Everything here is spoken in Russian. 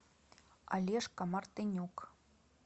олежка мартынюк